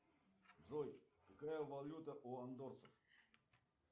джой какая валюта у андорцев